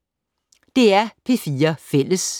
DR P4 Fælles